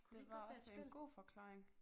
Det var også en god forklaring